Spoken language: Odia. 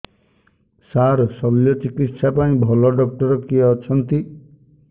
ସାର ଶଲ୍ୟଚିକିତ୍ସା ପାଇଁ ଭଲ ଡକ୍ଟର କିଏ ଅଛନ୍ତି